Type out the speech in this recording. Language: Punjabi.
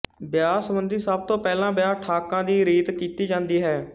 ਵਿਆਹ ਸਬੰਧੀ ਸਭ ਤੋਂ ਪਹਿਲਾਂ ਵਿਆਹ ਠਾਕਾਂ ਦੀ ਰੀਤ ਕੀਤੀ ਜਾਂਦੀ ਹੈ